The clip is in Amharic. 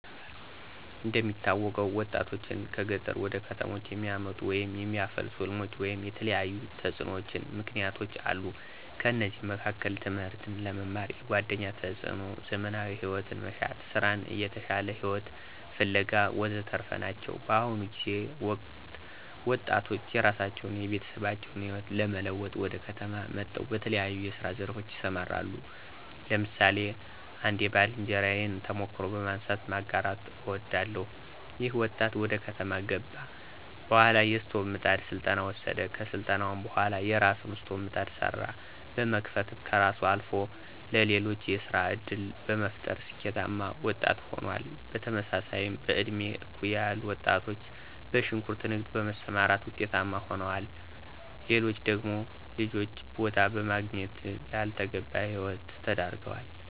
እንደሚታወቀው ወጣቶችን ከገጠር ወደ ከተሞች የሚያመጡ ወይም የሚያፋልሱ ሕልሞች ወይም የተለያዩ ተጽዕኖዎችና ምክነያቶች አሉ። ከነዚህም መካከል ትምህርትን ለመማር፣ የጓደኛ ተፅዕኖ፣ ዘመናዊ ሂወትን መሻት፣ ሥራን እና የተሻለ ሂወትን ፋለጋ ወዘተረፈ ናቸው። በአሁኑ ጊዜና ወቅት ወጣቶች የራሳቸውን አና የቤተሰባችን ህይወት ለመለወጥ ወደ ከተማ መጠው በተለያየ የስራ ዘርፎች ይሰማራሉ። ለምሳሌ አንድ የባልንጀራየን ተሞክሮ በማንሳት ማጋራት አወዳለሁ። ይኸ ወጣት ወደ ከተማ ከገባ በኋላ የስቶቭና ምጣድ ስልጠና ወሰደ። ከስልጠናውም በኋላ የራሱን የስቶቭና ምጣድ ስራ በመክፈትም ከራሱ አልፎ ለሌሎች የስራ ዕድል በመፍጠር ስኬታማ ወጣት ሆኗል። በተመሳሳይም በእድሜ እኩያ ያሉ ወጣቶች በሽንኩርት ንግድ በመሰማራት ውጤታማ ሆነዋል። ሌሎች ደግሞ ጅል ቦታ በመገኘት ላልተገባ ሂወት ተዳርገዋል።